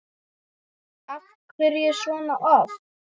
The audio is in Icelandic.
Af hverju svona oft?